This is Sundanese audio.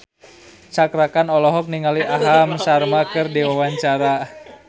Cakra Khan olohok ningali Aham Sharma keur diwawancara